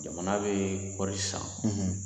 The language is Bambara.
Jamana bɛ kɔɔri san